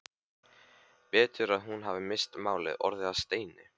Betur að hún hefði misst málið, orðið að steini.